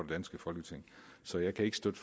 danske folketing så jeg kan ikke støtte